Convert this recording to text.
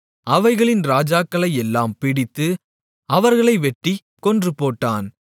அவைகளின் ராஜாக்களையெல்லாம் பிடித்து அவர்களை வெட்டிக் கொன்றுபோட்டான்